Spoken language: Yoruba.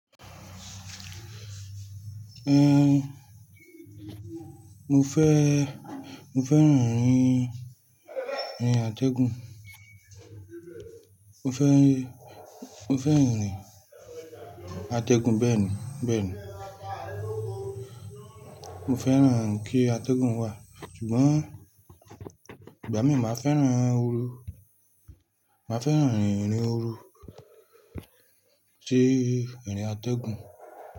Mo fẹ́, mo fẹ́ràn aarin, aarin atẹ́gùn. Mo fẹ́, mo fẹ́ràn erin atẹ́gùn bẹ́ẹ̀ni, bẹ́ẹ̀ni. Mo fẹ́ràn kí atẹ́gùn wà, ṣùgbọ́n ìgbà mìí màá fẹ́ràn ooru. Màá fẹ́ràn aarin ooru, ṣe aarinatẹ́gùn.